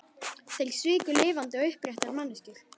Þeir sviku lifandi og uppréttar manneskjur.